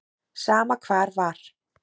Sama hvar var.